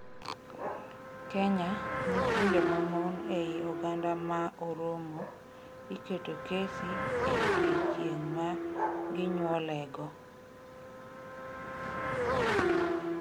Kenya: Nyithindo mamon ei oganda ma Oromo iketo kesi e odiechieng' ma ginyuolego